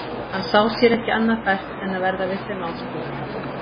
Hann sá sér ekki annað fært en að verða við þeim áskorunum.